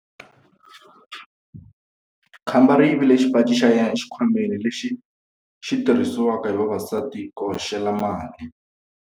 Khamba ri yivile xipaci xa yena exikhwameni lexi xi tirhisiwaka hi vavasati ku hoxela mali.